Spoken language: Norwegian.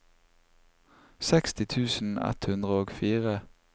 seksti tusen ett hundre og fire